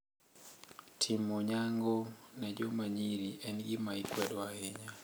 Timo nyango ne jomanyiri en gima ikwedo ahinya.